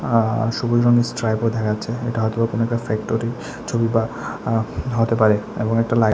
আঃ সবুজ রঙের স্ট্রাইপও দেখা যাচ্ছে এটা হয়তো বা কোনো ফ্যাক্টরির ছবি বা আঃ হতে পারে এবং একটা লা --